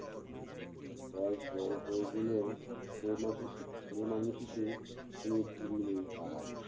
বয়েস বড় হয়ে গেলেও ছেমাশতি~ ছেলেমানুষি তে কোনো জুড়ি নেই পাড়ায়।